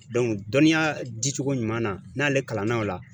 dɔnniya dicogo ɲuman na, n'ale kalan na o la